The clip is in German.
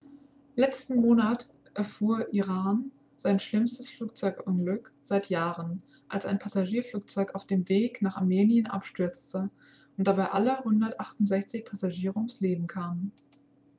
letzten monat erfuhr iran sein schlimmstes flugzeugunglück seit jahren als ein passagierflugzeug auf dem weg nach armenien abstürzte und dabei alle 168 passagiere ums leben kamen